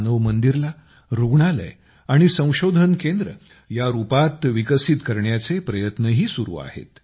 मानव मंदिरला रूग्णालय आणि संशोधन केंद्र या रूपात विकसित करण्याचे प्रयत्नही सुरू आहेत